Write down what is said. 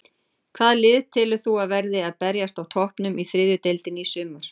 Hvaða lið telur þú að verði að berjast á toppnum í þriðju deildinni í sumar?